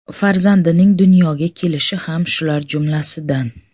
Farzandining dunyoga kelishi ham shular jumlasidan.